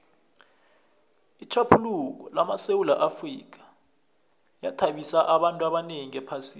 itjhaphuluko lamasewula afrika yathabisa abantu abanengi ephasini